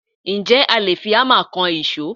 Ǹjẹ́ a lè fi Hámà kan ìṣó?